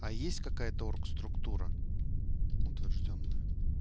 а есть какая-то оргструктура утверждённая